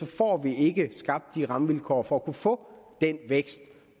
får vi ikke skabt de rammevilkår for at få den vækst